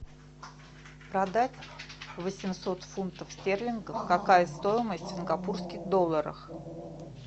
продать восемьсот фунтов стерлингов какая стоимость в сингапурских долларах